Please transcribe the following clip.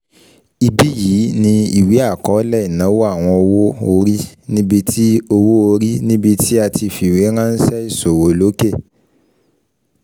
Ibí yìí ni ìwé akọọlẹ ìnáwó àwọn owó-orí níbí tí owó-orí níbí tí a ti fiweranṣẹ iṣowo loke